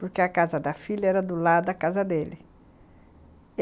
Porque a casa da filha era do lado da casa dele.